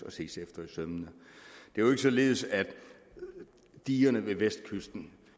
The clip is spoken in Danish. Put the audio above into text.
og ses efter i sømmene det er jo ikke således at digerne ved vestkysten